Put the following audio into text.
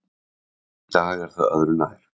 Í dag er það öðru nær.